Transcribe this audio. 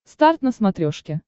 старт на смотрешке